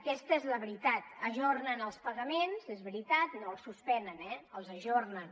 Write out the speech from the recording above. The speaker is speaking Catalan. aquesta és la veritat ajornen els pagaments és veritat no els suspenen eh els ajornen